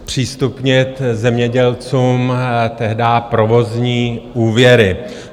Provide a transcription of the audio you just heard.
... zpřístupnit zemědělcům tehdy provozní úvěry.